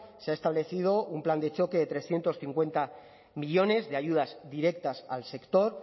se ha establecido un plan de choque de trescientos cincuenta millónes de ayudas directas al sector